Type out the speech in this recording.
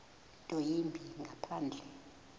nto yimbi ngaphandle